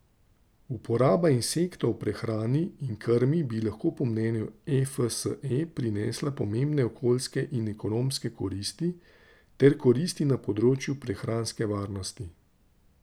Uporaba insektov v prehrani in krmi bi lahko po mnenju Efse prinesla pomembne okoljske in ekonomske koristi ter koristi na področju prehranske varnosti.